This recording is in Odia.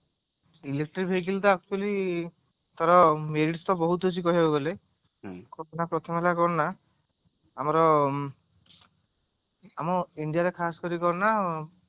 electric vehicle ଟା actually ତାର merit ତ ବହୁତ ଅଛି କହିବାକୁ ଗଲେ ପ୍ରଥମ ହେଲା କଣ ନା ଆମର ଆମର india ରେ ଖାସ କରି କଣ ନା